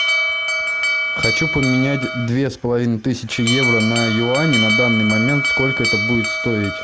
хочу поменять две с половиной тысячи евро на юани на данный момент сколько это будет стоить